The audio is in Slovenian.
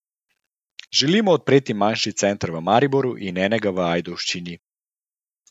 Želimo odpreti manjši center v Mariboru in enega v Ajdovščini.